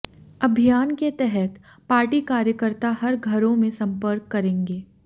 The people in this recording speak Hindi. अभियान के तहत पार्टी कार्यकर्ता हर घरों में संपर्क करेंगे